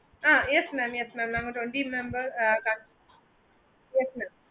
அஹ் yes mam yes mam நாங்க twenty members